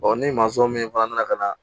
ni min fana nana ka na